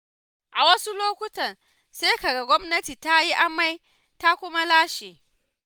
A wasu lokutan sai ka ga gwamnati ta yi amai ta kuma lashe.